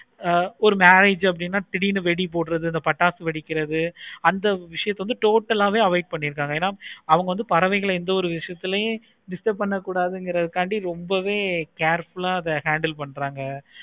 ஆஹ் ஒரு knowledge அப்படினா திடீருனு வெடி போடுறது இந்த பட்டாசு வெடிக்கிறது அந்த விஷயத்தை வந்து total ஆஹ் வே avoid பண்ணிருக்காங்க என அவங்க வந்து பறவைகள்ல எந்த ஒரு விஷயத்துலையும் disturb பண்ண கூடத்துகிறதுக்கு காந்தி ரொம்பவே அத careful ஆஹ் handle பன்றாங்க